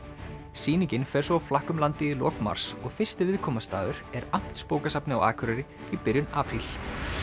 sýningin fer svo á flakk um landið í lok mars og fyrsti viðkomustaður er Amtsbókasafnið á Akureyri í byrjun apríl